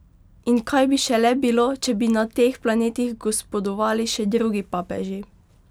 In kaj bi šele bilo, če bi na teh planetih gospodovali še drugi papeži?